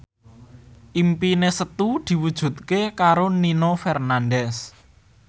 impine Setu diwujudke karo Nino Fernandez